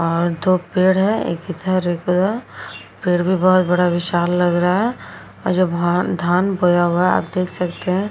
और दो पेड़ है एक इधर एक उधर। पेड़ भी बोहोत बड़ा विशाल लग रहा और जब हम धान बोया हुया आप देख सकते हैं।